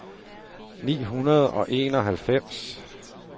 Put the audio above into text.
ni hundrede og enoghalvfems